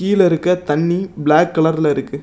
கீழ இருக்க தண்ணி பிளாக் கலர்ல இருக்கு.